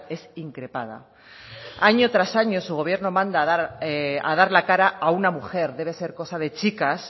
es increpada año tras año su gobierno manda a dar la cara a una mujer debe ser cosa de chicas